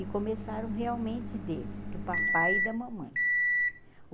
E começaram realmente deles, do papai e da mamãe.